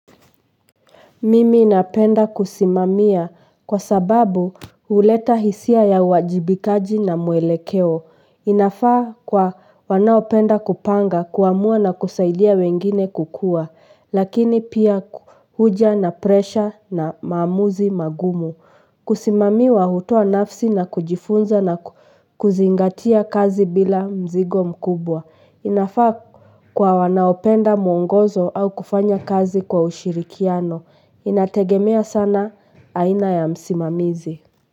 Mimi napenda kusimamia kwa sababu huleta hisia ya uwajibikaji na mwelekeo inafaa kwa wanaopenda kupanga kuamua na kusaidia wengine kukua, lakini pia huja na presha na maamuzi magumu. Kusimamiwa hutoa nafsi na kujifunza na kuzingatia kazi bila mzigo mkubwa. Inafaa kwa wanaopenda muongozo au kufanya kazi kwa ushirikiano. Inategemea sana aina ya msimamizi.